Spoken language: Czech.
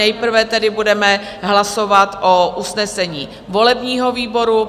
Nejprve tedy budeme hlasovat o usnesení volebního výboru.